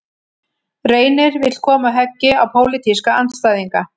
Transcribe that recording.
Reynir vill koma höggi á pólitíska andstæðinga